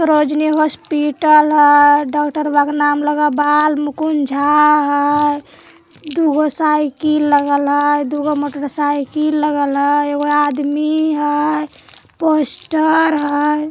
Sarojini hospital हेय | doctor नाम बालमुकुंद झा हेय | दू गो साइकिल लगल हेय | दू गो मोटर-साइकिल लगा हेय | एक आदमी हेय | पोस्टर हेय।